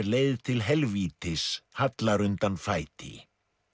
leið til helvítis hallar undan fæti